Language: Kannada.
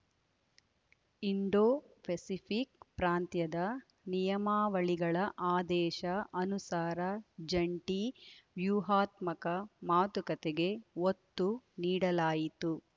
ಇಂಡೋಫೆಸಿಫಿಕ್ ಪ್ರಾಂತ್ಯದ ನಿಯಮಾವಳಿಗಳ ಆದೇಶ ಅನುಸಾರ ಜಂಟಿ ವ್ಯೂಹಾತ್ಮಕ ಮಾತುಕತೆಗೆ ಒತ್ತು ನೀಡಲಾಯಿತು